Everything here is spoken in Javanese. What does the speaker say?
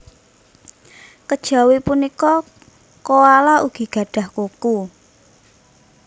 Kejawi punika koala ugi gadhah kuku